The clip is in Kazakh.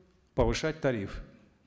повышать тариф